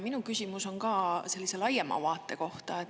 Minu küsimus on ka sellise laiema vaate kohta.